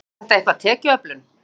Tengist þetta eitthvað tekjuöflun?